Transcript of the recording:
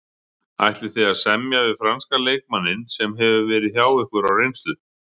Ætlið þið að semja við franska leikmanninn sem hefur verið hjá ykkur á reynslu?